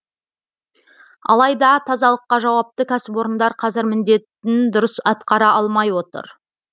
алайда тазалыққа жауапты кәсіпорындар қазір міндетін дұрыс атқара алмай отыр